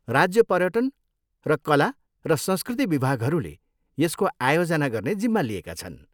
राज्य पर्यटन र कला र संस्कृति विभागहरूले यसको आयोजना गर्ने जिम्मा लिएका छन्।